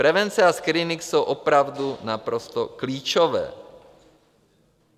Prevence a screening jsou opravdu naprosto klíčové.